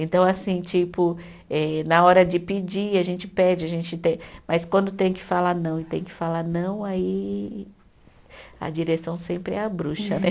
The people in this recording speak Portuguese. Então, assim, tipo, eh na hora de pedir, a gente pede, a gente tem, mas quando tem que falar não e tem que falar não, aí. A direção sempre é a bruxa, né?